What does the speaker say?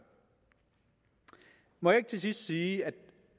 må jeg ikke til sidst sige at